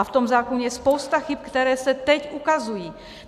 A v tom zákoně je spousta chyb, které se teď ukazují.